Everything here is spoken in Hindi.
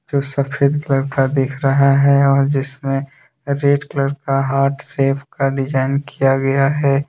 जो सफेद कलर का दिख रहा है और जिसमें रेड कलर का हार्ट शेप का डिजाइन किया गया है।